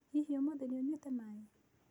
Hihi ũmũthĩ nĩ ũnywĩte maĩ ?